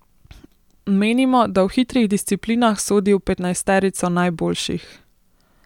Menimo, da v hitrih disciplinah sodi v petnajsterico najboljših.